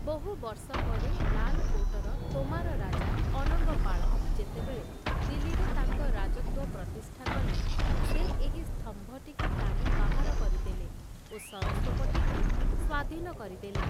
ବହୁ ବର୍ଷ ପରେ ଲାଲକୋଟ୍‌ର ତୋମାର ରାଜା ଅନଙ୍ଗପାଳ ଯେତେବେଳେ ଦିଲ୍ଲୀରେ ତାଙ୍କ ରାଜତ୍ଵ ପ୍ରତିଷ୍ଠା କଲେ ସେ ଏହି ସ୍ତମ୍ଭଟିକୁ ଟାଣି ବାହାର କରିଦେଲେ ଓ ସରସ୍ଵପଟିକୁ ସ୍ଵାଧୀନ କରିଦେଲେ ।